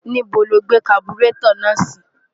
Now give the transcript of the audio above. ní́bo lo gbé kaburétọ̀ náà sí?